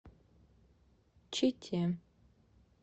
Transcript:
чите